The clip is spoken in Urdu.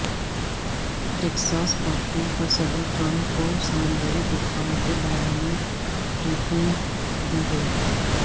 ٹیکساس پہچنے پر صدر ٹرمپ کو سمندری طوفان کے بارے میں بریفنگ دی گئی